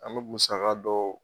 An bɛ musaga dɔw